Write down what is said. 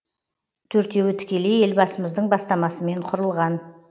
төртеуі тікелей елбасымыздың бастамасымен құрылған